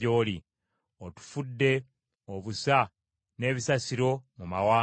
Otufudde obusa n’ebisasiro mu mawanga.